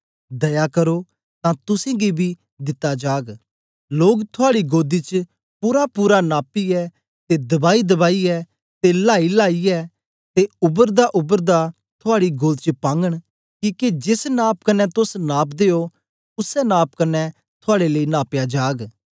दया करो तां तुसेंगी बी दिता जाग लोग थुआड़ी गोदी च पूरापूरा नापिऐ ते दबाईदबाईयै ते लाईलेईयै ते उबरदाउबरदा थुआड़ी गोद च पागन किके जेस नाप कन्ने तोस नापदे ओ उसै नाप कन्ने थुआड़े लेई नापया जाग